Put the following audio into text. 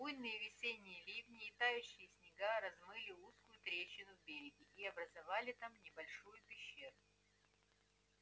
буйные весенние ливни и тающие снега размыли узкую трещину в береге и образовали там небольшую пещеру